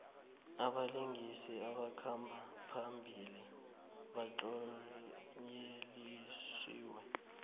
abalingisi abakhamba phambili batlonyelisiwe